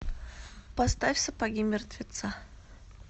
поставь сапоги мертвеца